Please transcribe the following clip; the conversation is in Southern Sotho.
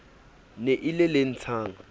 ne e le le ntshang